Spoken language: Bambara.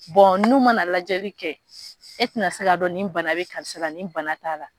n'u ma na lajɛli kɛ e tɛna se k'a dɔn nin bana bɛ karisa la ni bana t'a la